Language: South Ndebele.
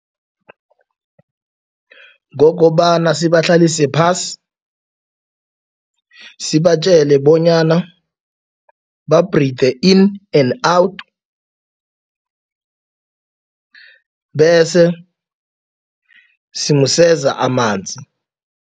Kokobana sibahlalise phasi. Sibatjele bonyana ba-breath in and out bese simseza amanzi.